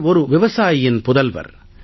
அவர் ஒரு விவசாயியின் புதல்வர்